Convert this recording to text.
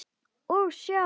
Og sjá!